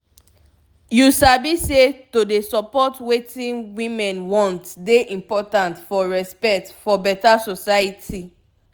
you sabi say to dey support wetin women want dey important for respect for beta society